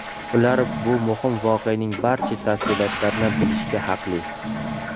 Ular bu muhim voqeaning barcha tafsilotlarini bilishga haqli.